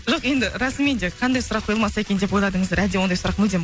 жоқ енді расымен де қандай сұрақ қойылмаса екен деп ойладыңыздар әлде ондай сұрақ мүлдем